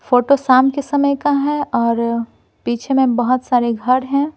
Photo शाम के समय का है और पीछे में बहुत सारे घर हैं।